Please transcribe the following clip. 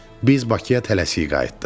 Biz Bakıya tələsik qayıtdıq.